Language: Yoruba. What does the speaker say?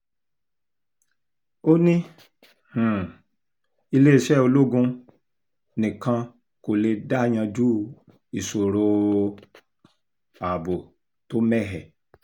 ó ní um iléeṣẹ́ ológun nìkan kò lè dá yanjú ìṣòro um ààbò tó mẹ́hẹ